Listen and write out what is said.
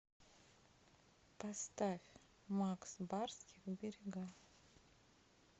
поставь макс барских берега